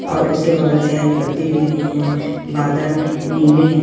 और उसके बगल से हरी पत्ती दिख रही है बादल नीले है।